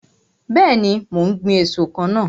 Bẹẹni, mo ń gbin èso kan náà.